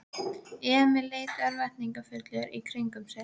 Emil leit örvæntingarfullur í kringum sig.